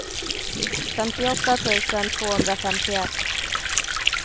femtioåtta tusen tvåhundrafemtioett